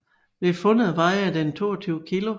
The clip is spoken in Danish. Ved fundet vejede den 22 kilo